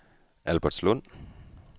Albertslund